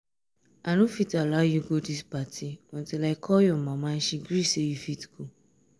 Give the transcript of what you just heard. i no fit allow you go dis party until i call your mama and she gree say you fit go